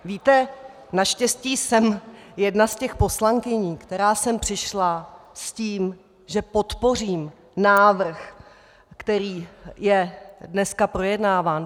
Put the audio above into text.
Víte, naštěstí jsem jedna z těch poslankyň, která sem přišla s tím, že podpořím návrh, který je dneska projednáván.